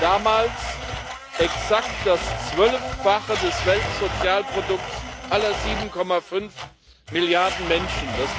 das war damals exakt das Zwölffache des Weltsozialprodukts aller 7,5 Milliarden Menschen.